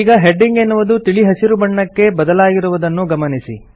ಈಗ ಹೆಡಿಂಗ್ ಎನ್ನುವುದು ತಿಳಿ ಹಸಿರು ಬಣ್ಣಕ್ಕೆ ಬದಲಾಗಿರುವುದನ್ನು ಗಮನಿಸಿ